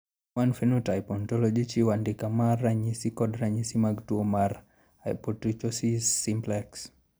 Human Phenotype Ontology chiwo andike mar ranyisi kod ranyisi mag tuo mar Hypotrichosis simplex.